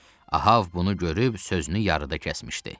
Ahav bunu görüb sözünü yarıda kəsmişdi.